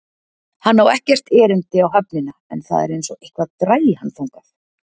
Hann á ekkert erindi á höfnina en það er einsog eitthvað dragi hann þangað.